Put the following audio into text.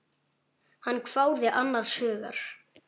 Hann hváði annars hugar.